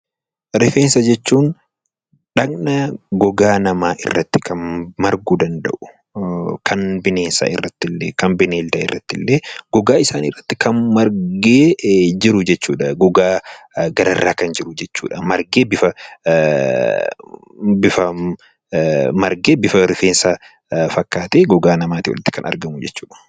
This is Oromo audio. Rifeensa jechuun dhaqna gogaa namaa irratti marguu danda'u, kan bineensa irratti illee gogaa isaanii irratti kan margee jiru jechuudha. Gogaa gararraa kan jiru jechuudha. Margee bifa rifeensa fakkaatee gogaa namaatii olitti kan argamu jechuudha.